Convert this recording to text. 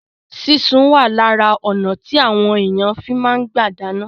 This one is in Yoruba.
Sísun wà lára ọnà tí àwọn èèyàn fi máa ń gbà dáná